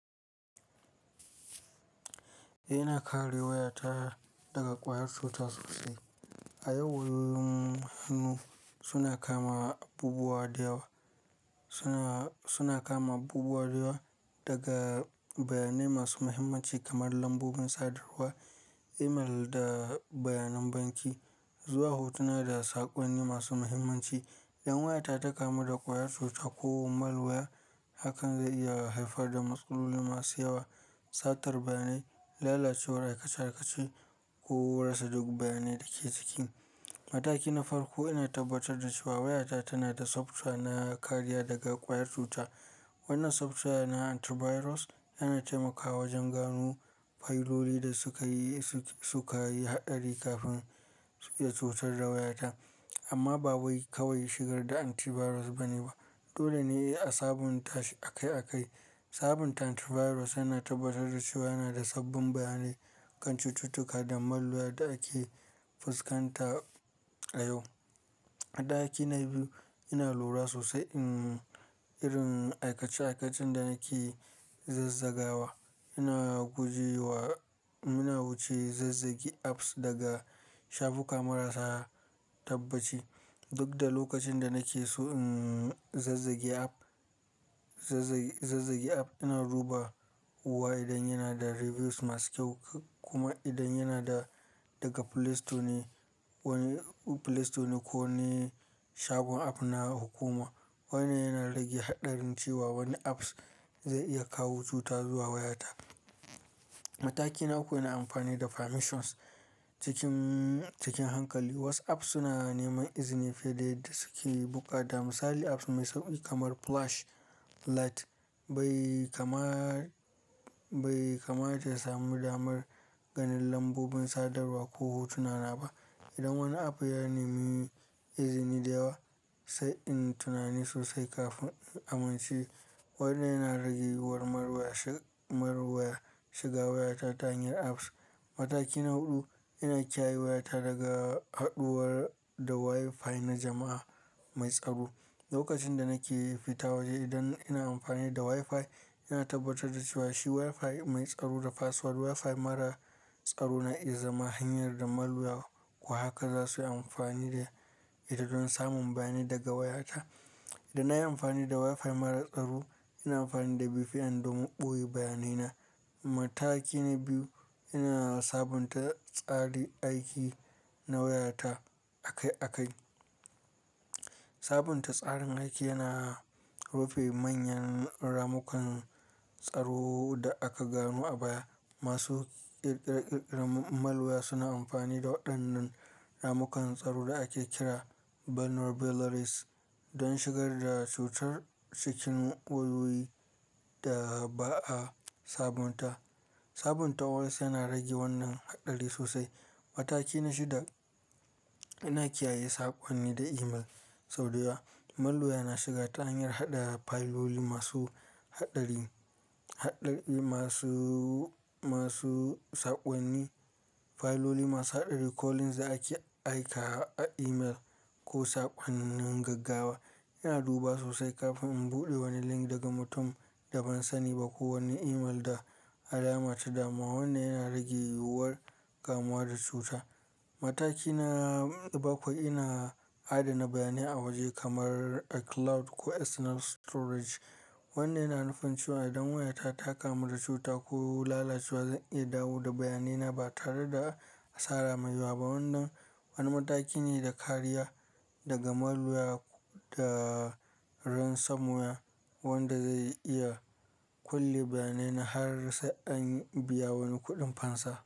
Ina kare wayata daga ƙwayar cuta sosai. A yau, wayoyin hannu suna kama abubuwa da yawa. Suna, suna kama abubuwa da yawa daga bayanai masu muhimmanci kamar lambobin sadarwa, email da bayanan banki zuwa hotuna da saƙonni masu muhimmanci. In wayata ta kamu da ƙwayar cuta ko malluya, hakan zai iya haifar da matsaloli masu yawa, satar bayanai, lalacewar aikace-aikace ko rasa duk bayanai da ke ciki. Mataki na farko, ina tabbatar da cewa wayata tana da software na kariya daga ƙwayar cuta. Wannan software na antivirus yana taimakawa wajen gano fayiloli da suka yi, su ka yi haɗari kafin su iya cutar da wayata. Amma ba wai kawai shigar da antivirus bane ba. Dole ne a sabunta shi akai akai. Sabunta antivirus yana tabbatar da cewa yana da sabbin bayanai kan cututtuka da malluya da ake fuskanta a yau. A ɗaki na biyu, ina lura sosai in irin aikace-aikacen da nake zazzagawa. Ina guje wa, muna wuce zazzage apps daga shafuka marasa tabbaci. Duk da lokacin da nake so, emm, zazzage app, zazzage, zazzage app, ina duba wa idan yana da reviews masu kyau kuma idan yana da daga Play Store ne. Wani Play Store ne ko ne shagon app na hukuma. Wannan yana rage haɗarin cewa wani apps zai iya kawo cuta zuwa wayata. Mataki na uku, ina amfani da permissions cikin, cikin hankali. WhatsApp suna neman izini fiye da yadda suke buƙata. Misali, apps mai sauƙi kamar flashlight bai kama, bai kamata ya sami damar ganin lambobin sadarwa ko hotunana ba. Idan wani app ya nemi izini da yawa, sai in tunani sosai kafin in amince. Wannan yana rage yiwuwar marwaya shi, marwaya shiga wayata ta hanyar apps. Mataki na huɗu, ina kiyaye wayata daga haɗuwar da Wi-Fi na jama'a mai tsaro. Lokacin da nake fita waje, idan ina amfani da Wi-Fi, ina tabbatar da cewa shi Wi-Fi mai tsaro da password. Wi-Fi mara tsaro na iya zama hanyar da malluya, ko haka za su yi amfani da ita don samun bayanai daga wayata. Idan nayi amfani da Wi-Fi mara tsaro, ina amfani da VPN don min ɓoye bayanaina. Mataki na biyu, ina sabunta tsarin aiki na wayata akai akai. Sabunta tsarin aiki yana rufe manyan ramukan tsaro da aka gano a baya. Masu ƙirƙirar malluya suna amfani da waɗannan ramukan tsaro da ake kira vulnerabilities don shigar da cutar cikin wayoyi da ba a sabunta. Sabunta OS yana rage wannan haɗari sosai. Mataki na shida, ina kiyaye saƙonni da email sau da yawa. Malluya na shiga ta hanyar haɗa fayiloli masu haɗari, haɗari masu, masu saƙonni, fayiloli masu haɗari ko links da ake aika a email ko saƙonnin gaggawa. Ina duba sosai kafin in buɗe wani link daga mutum da ban sani ba ko wani email da alama ta dama. Wannan yana rage yiwuwar kamuwa da cuta. Mataki na bakwai, ina adana bayanai a waje kamar a cloud ko external storage. Wannan yana nufin cewa idan wayata ta kamu da cuta ko lalacewa, zan iya dawo da bayanaina ba tare da asara mai yawa ba. Wannan wani mataki ne da kariya daga malluya da ransamowa wanda zai iya kulle bayanaina har sai an biya wani kuɗin fansa.